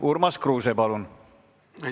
Urmas Kruuse, palun!